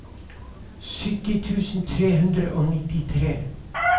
sytti tusen tre hundre og nittifire